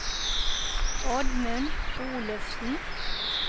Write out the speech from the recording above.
Oddmund Olufsen